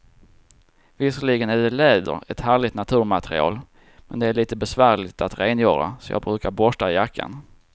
Visserligen är läder ett härligt naturmaterial, men det är lite besvärligt att rengöra, så jag brukar borsta jackan.